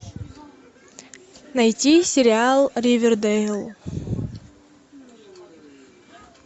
найти сериал ривердэйл